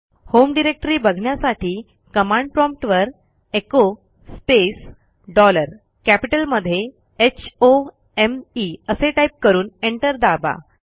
home directory बघण्यासाठी command prompt वरecho space dollar कॅपिटलमध्ये होम असे टाईप करून एंटर दाबा